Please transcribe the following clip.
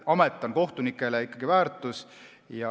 Amet on kohtunikele ikkagi väärtus.